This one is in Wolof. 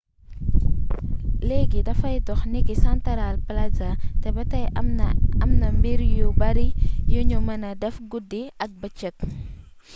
léegi dafay dox niki santaral plaza te ba tey am na mbir yu bari yuñu mëna def guddi ak bëcëk